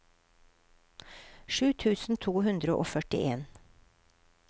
sju tusen to hundre og førtien